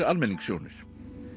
almenningssjónir